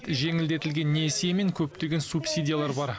жеңілдетілген несие мен көптеген субсидиялар бар